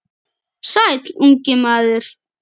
Sæll, ungi maður.